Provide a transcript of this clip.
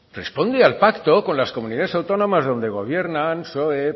responde al pacto con las comunidades autónomas donde gobiernan psoe